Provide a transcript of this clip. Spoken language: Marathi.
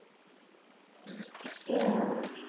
हअ